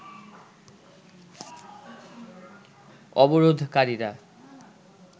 অবরোধকারীরা